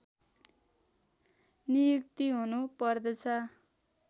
नियुक्ति हुनु पर्दछ